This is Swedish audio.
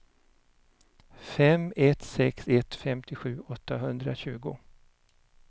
fem ett sex ett femtiosju åttahundratjugo